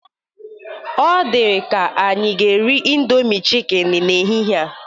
Ọ dịka anyị ga-eri indomi chikini n'ehihe a.